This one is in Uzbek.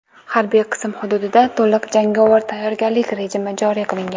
Harbiy qism hududida to‘liq jangovar tayyorgarlik rejimi joriy qilingan.